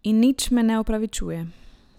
In nič me ne opravičuje.